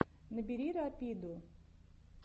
набери рапиду